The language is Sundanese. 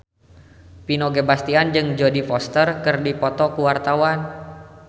Vino Bastian jeung Jodie Foster keur dipoto ku wartawan